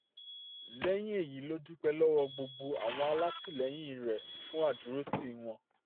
lẹ́yìn èyí ló dúpẹ́ lọ́wọ́ gbogbo àwọn alátìlẹyìn rẹ̀ fún àdúrótì wọn